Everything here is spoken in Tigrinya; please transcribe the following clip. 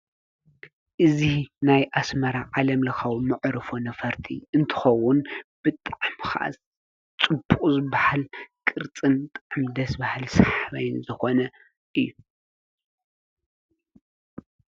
እዙይ ናይ ኣስማራ ዓለም ለኻዊ ምዕሩ ፉ ነፈርቲ እንተኸውን ፤ብጥዕምኻስ ጽቡቕ ዝበሃል ቅርጽን ደስ ባሃል ሰሕበይኒ ዘኾነ እዩ።